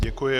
Děkuji.